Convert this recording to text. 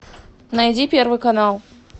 найди первый канал